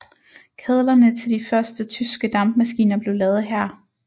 Kedlerne til de første tyske dampmaskiner blev lavet her